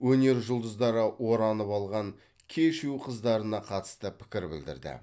өнер жұлдыздары оранып алған кешью қыздарына қатысты пікір білдірді